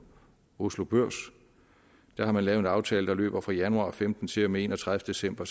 oslo børs man har lavet en aftale der løber fra januar og femten til og med enogtredivete december